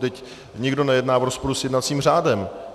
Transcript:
Teď nikdo nejedná v rozporu s jednacím řádem.